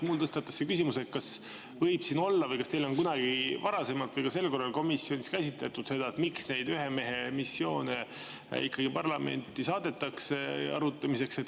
Mul tekkis seetõttu küsimus, kas on kunagi varasemalt või ka sel korral komisjonis käsitletud seda, miks neid ühemehemissioone ikkagi parlamenti arutamiseks saadetakse.